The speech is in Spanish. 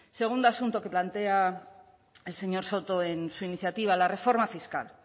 segundo asunto que plantea el señor soto en su iniciativa la reforma fiscal